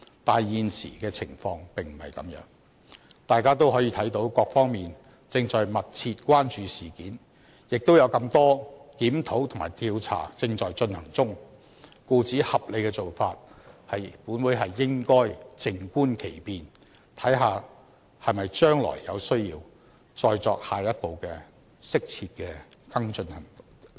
但是，現時的情況並不是這樣，大家都可以看到各方面正在密切關注事件，亦有這麼多檢討和調查正在進行中，故此合理的做法是，本會應該靜觀其變，看看將來是否有需要再作下一步的、適切的跟進行動。